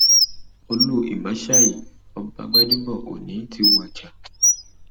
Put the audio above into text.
olú ìmásáyí ọba gbadẹbọ òní ti wájà um